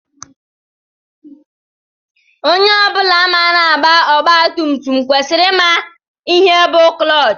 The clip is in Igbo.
Onye ọ bụla maara agba ọgba tum tum kwesịrị ịma ihe bu clọọch.